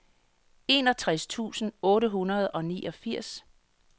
enogtres tusind otte hundrede og niogfirs